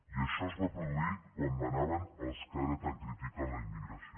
i això es va produir quan manaven els que ara tant critiquen la immigració